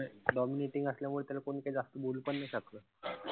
Dominating असल्यामुळे त्याल काई कोणी जास्त बोलू पण नाई शकत.